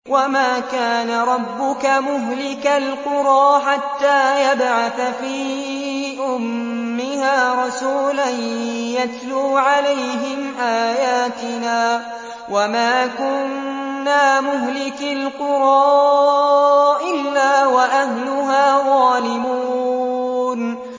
وَمَا كَانَ رَبُّكَ مُهْلِكَ الْقُرَىٰ حَتَّىٰ يَبْعَثَ فِي أُمِّهَا رَسُولًا يَتْلُو عَلَيْهِمْ آيَاتِنَا ۚ وَمَا كُنَّا مُهْلِكِي الْقُرَىٰ إِلَّا وَأَهْلُهَا ظَالِمُونَ